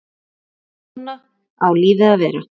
Svona á lífið að vera.